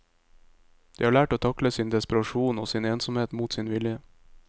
De har lært å takle sin desperasjon og sin ensomhet mot sin vilje.